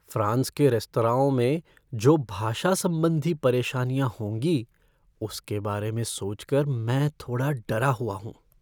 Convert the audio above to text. France के रेस्तराओं में जो भाषा संबंधी परेशानियाँ होंगी उसके बारे में सोच कर मैं थोड़ा डरा हुआ हूँ।